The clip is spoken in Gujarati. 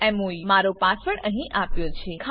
Kannan mou મારો પાસવર્ડ અહીં આપ્યો છે